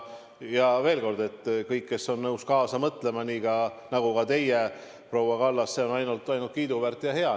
Ja veel kord: kõik, kes on nõus kaasa mõtlema, ka teie, proua Kallas – see on ainult kiiduväärt ja hea.